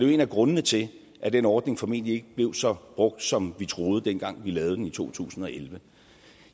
jo en af grundene til at den ordning formentlig ikke blev så brugt som vi troede dengang vi lavede den i to tusind og elleve